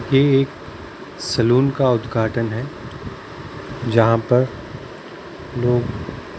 ये एक सैलून का उद्घाटन हैं जहाँ पर लोग --